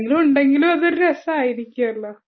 ആരെങ്കിലും ഉണ്ടെങ്കിലും അതൊരു രസം ആയിരിക്കുവല്ലോ